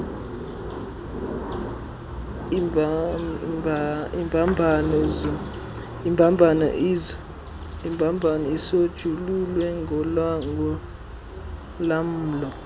imbambano isonjululwe ngolamlo